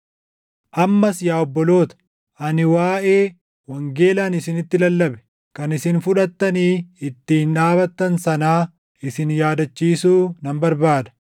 Ammas yaa obboloota, ani waaʼee wangeela ani isinitti lallabe, kan isin fudhattanii ittiin dhaabatan sanaa isin yaadachiisuu nan barbaada.